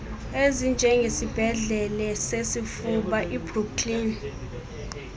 ezinjengesibhedlele sesifuba ibrooklyn